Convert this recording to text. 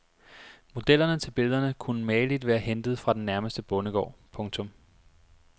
Modellerne til billederne kunne mageligt være hentet fra den nærmeste bondegård. punktum